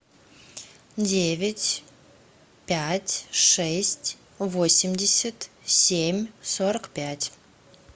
девять пять шесть восемьдесят семь сорок пять